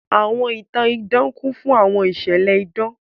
Àwọn ìtan-ìdan kùn fùn àwọn ìṣẹ̀lẹ̀ ìdan.